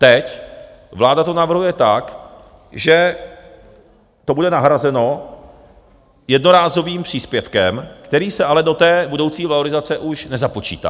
Teď vláda to navrhuje tak, že to bude nahrazeno jednorázovým příspěvkem, který se ale do té budoucí valorizace už nezapočítá.